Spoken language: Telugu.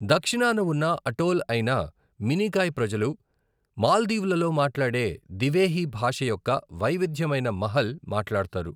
దక్షిణాన ఉన్న అటోల్ అయిన మినికాయ్ ప్రజలు మాల్దీవులలో మాట్లాడే దివేహి భాష యొక్క వైవిధ్యమైన మహల్ మాట్లాడతారు.